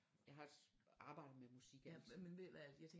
Jeg har arbejdet med musik altid